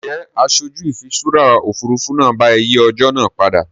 Ǹjẹ́ aṣojú ìfiṣúra Òfurufú náà bá ẹ yìí ọjọ́ náà padà?